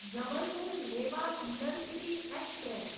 Jabalpur Rewa intercity express